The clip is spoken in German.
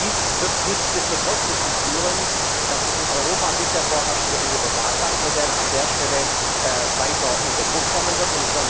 Dies wird nichtsdestotrotz dazu führen, dass das in Europa bisher vorherrschende Universalbankmodell an der Stelle weiter unter Druck kommen wird.